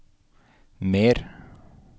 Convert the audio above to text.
mer